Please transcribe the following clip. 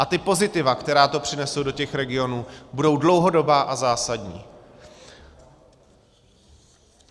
A ta pozitiva, která to přinese do těch regionů, budou dlouhodobá a zásadní.